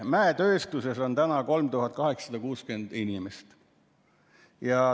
Mäetööstuses on tööl 3860 inimest.